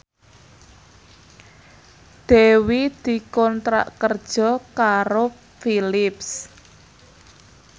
Dewi dikontrak kerja karo Philips